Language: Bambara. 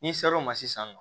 N'i ser'o ma sisan